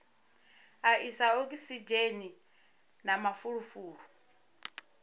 a isa okisidzheni na mafulufulu